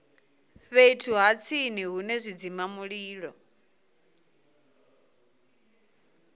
fhethu ha tsini hune zwidzimamulilo